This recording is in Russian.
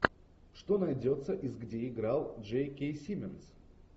что найдется из где играл джей кей симмонс